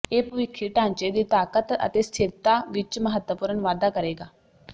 ਇਹ ਭਵਿੱਖੀ ਢਾਂਚੇ ਦੀ ਤਾਕਤ ਅਤੇ ਸਥਿਰਤਾ ਵਿੱਚ ਮਹੱਤਵਪੂਰਨ ਵਾਧਾ ਕਰੇਗਾ